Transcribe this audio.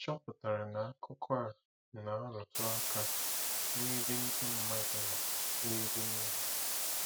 Ị̀ chọpụtara na akụkọ a na-arụtụ aka n'ebe ndị mmadụ nọ n'ebe nile?